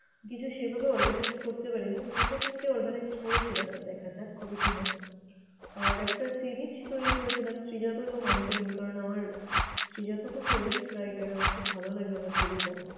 কিছু সেভাবে organize করতে পারিনি, দুটো তিনটে organized করেছিলাম দেখা যাক কবে কি হয়। আর একটা series তৈরী করেছিলাম শ্রীজাত এবং অন্ত্যমিল। কারণ আমার শ্রীজাত খুব favourite writer । আমার খুব ভালো লাগে উনার কবিতা।